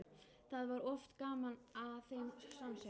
Það var oft gaman að þeim samsöng.